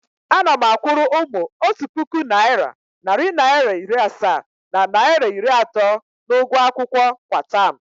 Ana m akwụrụ ụmụ otu puku naịra, narị naịra iri asaa na naịra iri atọ n’ụgwọ akwụkwọ kwa taam.